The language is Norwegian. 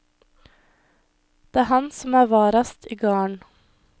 Det er han som er varast i garden.